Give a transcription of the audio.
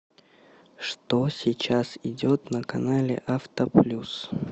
что сейчас идет на канале авто плюс